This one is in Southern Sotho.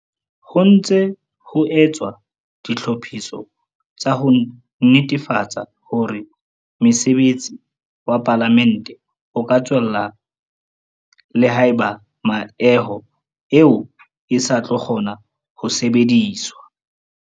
Ho ntse ho etswa ditlhophiso tsa ho netefatsa hore mosebetsi wa Palamente o ka tswella le haeba meaho eo e sa tlo kgona ho sebediswa.